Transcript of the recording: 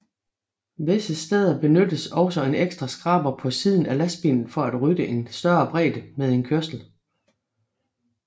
Visse steder benyttes også en ekstra skraber på siden af lastbilen for at rydde en større bredde med en kørsel